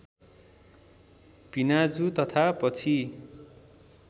भिनाजु तथा पछि